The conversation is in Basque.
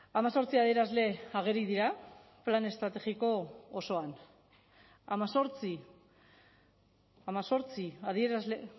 hemezortzi adierazle ageri dira plan estrategiko osoan hemezortzi hemezortzi adierazle